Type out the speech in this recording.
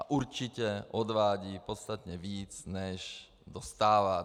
A určitě odvádí podstatně víc, než dostává.